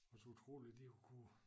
Også utroligt de har kunne